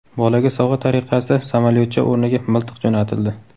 Bolaga sovg‘a tariqasida samolyotcha o‘rniga miltiq jo‘natildi.